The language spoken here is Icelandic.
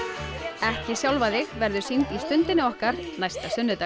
ekki sjálfa þig verður sýnd í Stundinni okkar næsta sunnudag